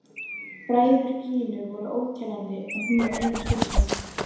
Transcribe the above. Bræður Gínu voru óteljandi en hún var eina stúlkan.